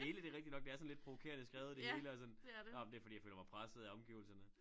Det hele det rigtig nok det er sådan lidt provokerende skrevet det hele er sådan nåh men det fordi jeg føler mig presset af omgivelserne